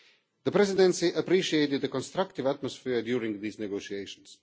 The Presidency appreciated the constructive atmosphere during these negotiations.